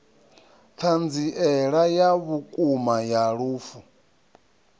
thanziela ya vhukuma ya lufu